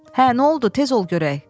Hə, nə oldu, tez ol görək.